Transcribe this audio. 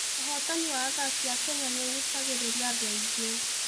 Ũhootani wa athaki a Kenya nĩ ũgucagĩrĩria andũ aingĩ.